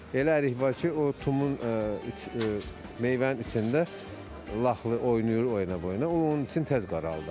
Elə ərik var ki, o tumun meyvənin içində lıxlı oynayır, oyna boyuna, o onun içini tez qaraldır.